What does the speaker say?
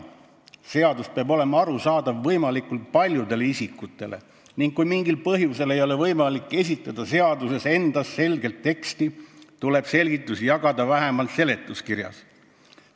/---/ Seadus peab olema arusaadav võimalikult paljudele isikutele ning kui mingil põhjusel ei ole võimalik esitada seaduses endas selget teksti, tuleb selgitusi jagada vähemalt seletuskirjas.